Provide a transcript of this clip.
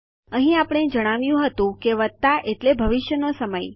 અહીં આપણે જણાવ્યું હતું કે વત્તા એટલે સમય ભવિષ્યમાં છે